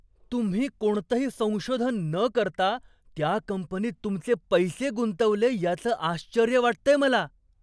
तुम्ही कोणतंही संशोधन न करता त्या कंपनीत तुमचे पैसे गुंतवले याचं आश्चर्य वाटतंय मला.